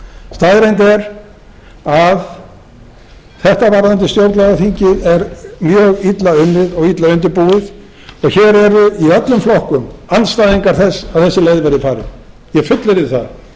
staðreynd er að þetta varðandi stjórnlagaþingið er mjög illa unnið og illa undirbúið og hér eru í öllum flokkum andstæðingar þess að þessi leið verði farin ég fullyrði það það